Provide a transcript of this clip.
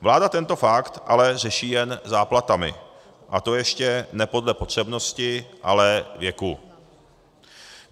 Vláda tento fakt ale řeší jen záplatami, a to ještě ne podle potřebnosti, ale věku.